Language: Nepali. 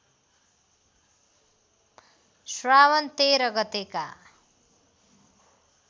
श्रावण १३ गतेका